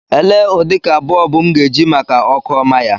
Elee ụdịka bọlbụ m ga-eji maka ọkụ ọma ya.